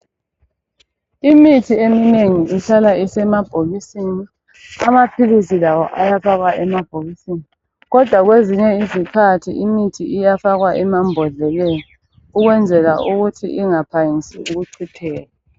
Imithi eminengi ihlala isemabhokisini, amaphilisi lawo ayafakwa emabhokisini. Kodwa kwezinye izikhathi imithi iyafakwa emambodleleni ukwenzela ukuthi ingaphangisi ukuchitheka.